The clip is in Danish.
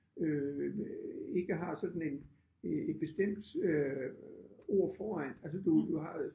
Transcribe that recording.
Øh ikke har sådan en et bestemt øh ord foran altså du du har øh